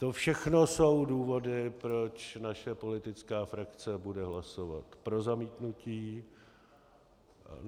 To všechno jsou důvody, proč naše politická frakce bude hlasovat pro zamítnutí.